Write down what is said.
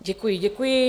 Děkuji, děkuji.